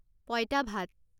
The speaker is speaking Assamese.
পঁইতা ভাত